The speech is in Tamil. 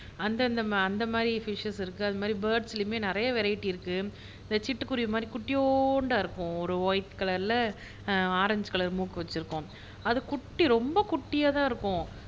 அந்தந்த அந்த மாதிரி ஃபிஷஸ் அது மாதிரி பேர்ட்ஸ்லையுமே நிறைய வெரைடிஸ் இருக்கு இந்த சிட்டுக்குருவி மாதிரி குட்டியோண்டா இருக்கும் ஒயிட் கலர்ல ஆரஞ்ச் கலர் மூக்கு வச்சிருக்கும் அது குட்டி ரொம்ப குட்டியா தான் இருக்கும்